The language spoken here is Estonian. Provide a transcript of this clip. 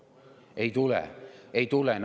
Ei tulene!